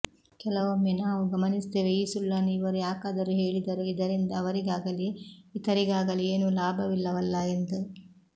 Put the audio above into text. ಕೆಲವೊಮ್ಮೆ ನಾವು ಗಮನಿಸುತ್ತೇವೆ ಈ ಸುಳ್ಳನ್ನು ಇವರು ಯಾಕಾದರೂ ಹೇಳಿದರು ಇದರಿಂದ ಅವರಿಗಾಗಲಿ ಇತರಿಗಾಗಲಿ ಏನೂ ಲಾಭವಿಲ್ಲವಲ್ಲಾ ಎಂದು